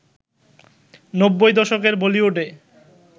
নব্বই দশকের বলিউডে